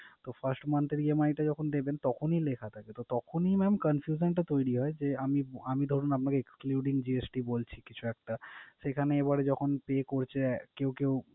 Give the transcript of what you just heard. তো first month এর EMI তে যখন দেবেন তখন ই লেখা থাকে। তো তখন ই mam confusion টা তৈরি হয় যে আমি আমি ধরুন আপনাকে excluding GST বলছি কিছু একটা, সেইখানে এবারে যখন pay করছে কেউ কেউ